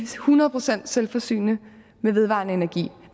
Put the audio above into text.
hundrede procent selvforsynende med vedvarende energi